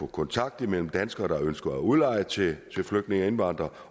kontakt mellem danskere der ønsker at udleje til flygtninge indvandrere